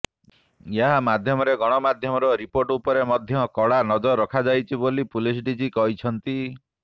ଏହା ମାଧ୍ୟମରେ ଗଣମାଧ୍ୟମର ରିପୋର୍ଟ ଉପରେ ମଧ୍ୟ କଡ଼ା ନଜର ରଖାଯାଇଛି ବୋଲି ପୁଲିସ ଡିଜି କହିଛନ୍ତି